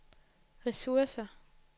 ressourcer